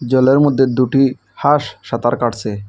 জলের মধ্যে দুটি হাঁস সাঁতার কাটসে।